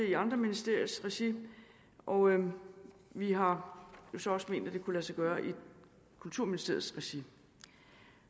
i andre ministeriers regi og vi har jo så også ment at det kunne lade sig gøre i kulturministeriets regi